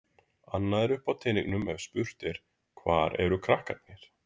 Annað er uppi á teningnum ef spurt er: hvar eru krakkarnir?